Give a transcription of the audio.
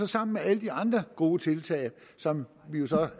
sammen med alle de andre gode tiltag som vi jo